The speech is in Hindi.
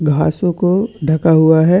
घासो को ढका हुआ है।